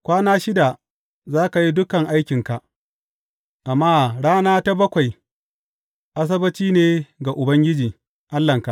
Kwana shida za ka yi dukan aikinka, amma rana ta bakwai Asabbaci ne ga Ubangiji, Allahnka.